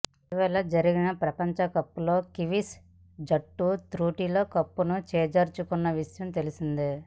ఇటీవల జరిగిన ప్రపంచకప్లో కివీస్ జట్టు త్రుటిలో కప్పును చేజార్చుకున్న విషయం తెలిసిందే